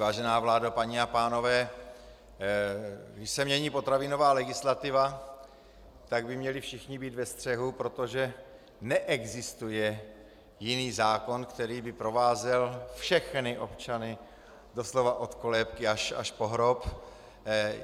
Vážená vládo, paní a pánové, když se mění potravinová legislativa, tak by měli všichni být ve střehu, protože neexistuje jiný zákon, který by provázel všechny občany doslova od kolébky až po hrob.